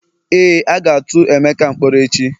Éè, a ga tu emeka mkpọrọ echi